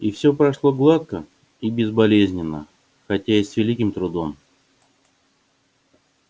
и всё прошло гладко и безболезненно хотя и с великим трудом